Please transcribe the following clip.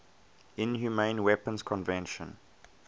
inhumane weapons convention